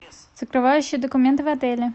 закрывающие документы в отеле